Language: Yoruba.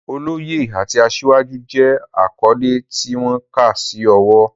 Oloye" àti "Asiwaju" jẹ́ àkọ́lé tí wọ́n kà sí ọ̀wọ̀.